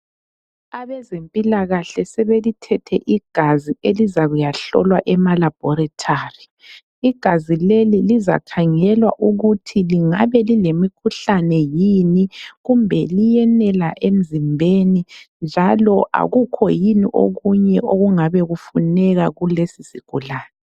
Abezempilakahle sebelithethe igazi elizakuyahlolwa emalabhorethari. Igazi leli lizakhangelwa ukuthi lingabe lilemikhuhlane yini kumbe liyenela emzimbeni njalo akukho yini okunye okungabe kufuneka kulesisigulane.